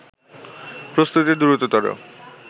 প্রস্তুতি দ্রুততর